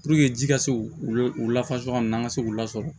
ji ka se u lafasa ɲɔgɔn ma an ka se k'u lasɔrɔ